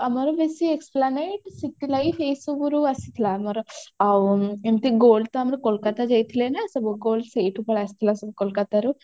ତ ଆମର ବେଶୀ esplanade city life ଏଇ ସବୁରୁ ଆସିଥିଲା ଆମର ଆଉ ଏମିତି gold ତ ଆମର କୋଲକାତା ଯାଇଥିଲେ ନା ସବୁ gold ସେଇଠୁ ପଳେଇ ଆସିଥିଲା ସବୁ କୋଲକାତାରୁ